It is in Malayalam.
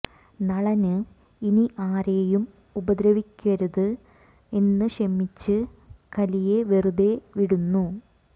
നളന് ഇനി ആരേയും ഉപദ്രവിക്കരുത് എന്ന് ക്ഷമിച്ച് കലിയെ വെറുതെ വിടുന്നു